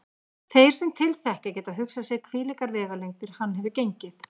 Þeir sem til þekkja geta hugsað sér hvílíkar vegalengdir hann hefur gengið.